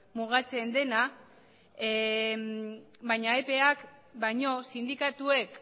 mugatzen dena baina epeak baino sindikatuek